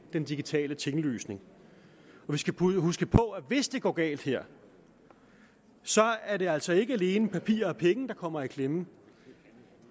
den digitale tinglysning vi skal huske på at hvis det går galt her er det altså ikke alene papir og penge der kommer i klemme